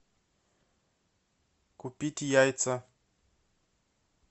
купить яйца